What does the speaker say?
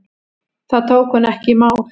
Það tók hún ekki í mál.